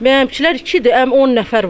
Mənimkilər ikidir, amma 10 nəfər var.